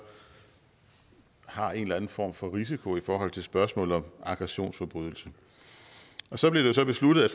har en eller anden form for risiko i forhold til spørgsmålet om aggressionsforbrydelse så blev det så besluttet at